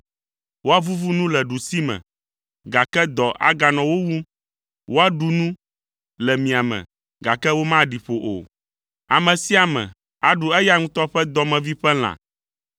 Woavuvu nu le ɖusime, gake dɔ aganɔ wo wum, woaɖu nu le miame, gake womaɖi ƒo o. Ame sia ame aɖu eya ŋutɔ ƒe dɔmevi ƒe lã.